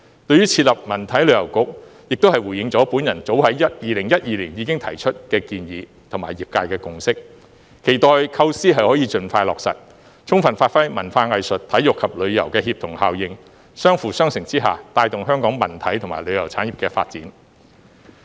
對於設立文體旅遊局，亦是回應了我早在2012年已提出的建議和業界的共識，期待構思可以盡快落實，充分發揮文化藝術、體育及旅遊協同效應，相輔相成之下，帶動香港文體和旅遊產業的發展。